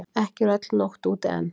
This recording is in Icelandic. Ekki er öll nótt úti enn.